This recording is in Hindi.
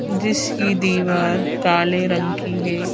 जिसकी दीवार काले रंग की है।